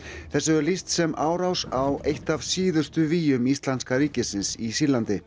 þessu er lýst sem árás á eitt af síðustu vígjum Íslamska ríkisins í Sýrlandi